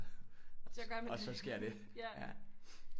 Og så sker det